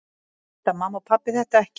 Vita mamma og pabbi þetta ekki?